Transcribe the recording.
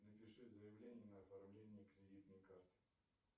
напиши заявление на оформление кредитной карты